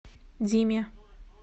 диме